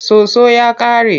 Soso ya ƙare.